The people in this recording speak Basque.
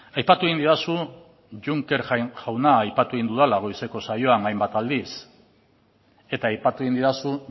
aipatu egin didazu juncker jauna aipatu egin dudala goizeko saioan hainbat aldiz eta aipatu egin didazu